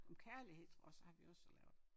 Om kærlighed tror jeg også har vi også lavet